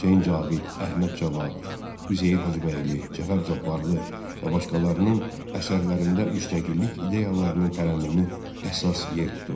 Hüseyn Cavid, Əhməd Cavad, Üzeyir Hacıbəyli, Cəfər Cabbarlı və başqalarının əsərlərində müstəqillik ideyalarının tərənnümü əsas yer tuturdu.